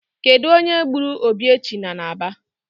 Kedu onye gburu Obiechina n'Aba